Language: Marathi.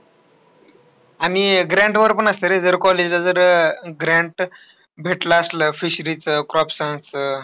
आणि grant वर पण असतं रे, जर college ला जर अह grant भेटला असला fishery चं, crop science चं.